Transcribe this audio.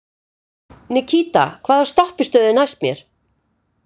Nikíta, hvaða stoppistöð er næst mér?